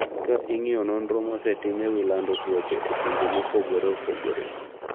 Ka ing’iyo nonro mosetim e wi lando tuoche e pinje mopogore opogore.